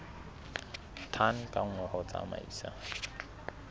tone ka nngwe ho tsamaisa